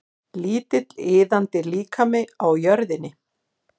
Lítill iðandi líkami á jörðinni.